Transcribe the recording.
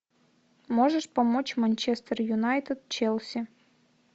можешь помочь манчестер юнайтед челси